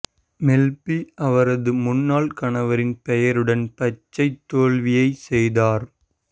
மெல் B அவரது முன்னாள் கணவரின் பெயருடன் பச்சைத் தோல்வியைச் செய்தார்